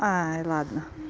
ай ладно